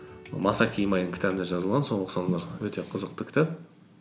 масаки имайдың кітабында жазылған соны оқысаңыздар өте қызықты кітап